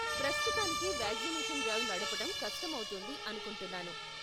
ప్రస్తుతానికి vaccination drive నడపటం కష్టం అవుతుంది అనుకుంటున్నాను.